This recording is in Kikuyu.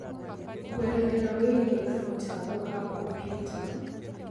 kũerethera wĩigie kamũtambo ka kampyuta